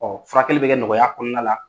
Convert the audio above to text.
Ɔɔ furakɛli be kɛ nɔgɔya kɔnɔna la